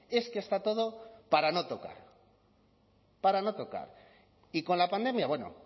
es que está todo para no tocar para no tocar y con la pandemia bueno